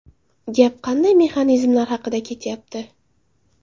Gap qanday mexanizmlar haqida ketyapti?